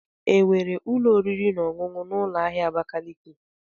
Enwere ụlọ oriri na ọṅụṅụ na ụlọ ahịa Abakaliki.